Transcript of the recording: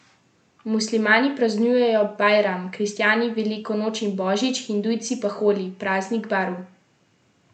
Muslimani praznujejo bajram, kristjani veliko noč in božič, hindujci pa holi, praznik barv.